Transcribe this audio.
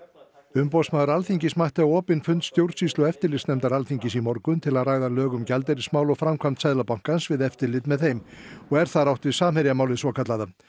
umboðsmaður Alþingis mætti á opinn fund stjórnsýslu og eftirlitsnefndar Alþingis í morgun til að ræða lög um gjaldeyrismál og framkvæmd Seðlabankans við eftirlit með þeim og er þar átt við Samherjamálið svokallaða